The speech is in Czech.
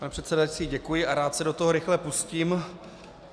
Pane předsedající, děkuji a rád se do toho rychle pustím.